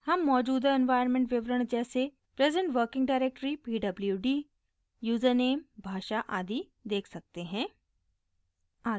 हम मौजूदा इन्वाइरन्मेन्ट विवरण जैसे present working directory pwd username भाषा आदि देख सकते हैं